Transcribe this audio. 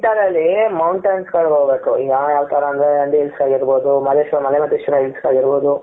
winter ಅಲ್ಲಿ mountains ಗಳಿಗೆ ಹೋಗಬೇಕು ಈಗ ಯಾವ್ ತರ ಅಂದ್ರೆ ನಂದಿ hills ಆಗಿರಬಹುದು ಮಾದೇಶ್ವರ ಮಲೆ ಮಾದೇಶ್ವರ hills ಆಗಿರಬಹುದು.